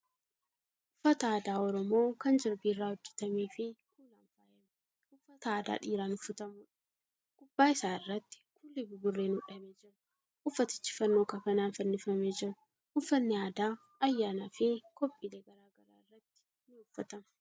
Uffata aadaa Oromoo kan jirbii irraa hojjatamee fi kuulan faayame. Uffata aadaa dhiiraan uffatamuudha. Gubbaa isaa irratti kuulli buburreen hodhamee jira. Uffatichi fannoo kafanaan fannifamee jira. Uffanni aadaa ayyaana fi kophiilee garagaraa irratti uffatama.